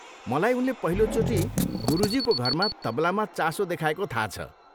मलाई उनले पहिलोचोटि गुरुजीको घरमा तबलामा चासो देखाएको थाहा छ।